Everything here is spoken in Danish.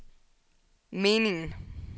meningen